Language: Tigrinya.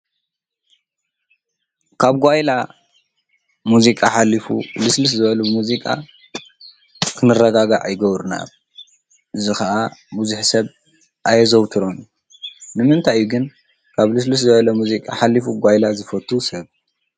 ካብ ጓይላ ሙዚቃ ሓሊፉ ልስልስ ዝበሉ ሙዚቃ ክንረጋጋእ ይገብሩና፡፡ እዚ ኸዓ ብዙሕ ሰብ ኣየዘውትሮን ንምንታይ ግን ካብ ልስልስ ዝበለ ሙዚቃ ሓሊፉ ጓይላ ዝፈቱ ሰብ?